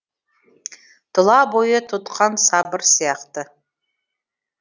тұла бойы түдған сабыр сияқты